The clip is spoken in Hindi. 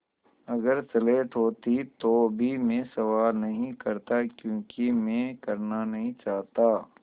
अगर स्लेट होती तो भी मैं सवाल नहीं करता क्योंकि मैं करना नहीं चाहता